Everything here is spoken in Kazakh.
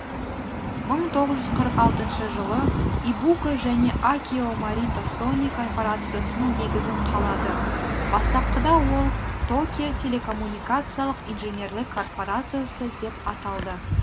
мың тоғыз жүз қырық алтыншы жылы ибука және акио морита сони корпорациясының негізін қалады бастапқыда ол токио телекоммуникациялық инженерлік корпорциясы деп аталды